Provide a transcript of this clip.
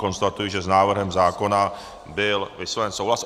Konstatuji, že s návrhem zákona byl vysloven souhlas.